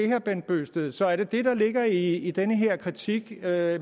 herre bent bøgsted så er det det der ligger i i den her kritik af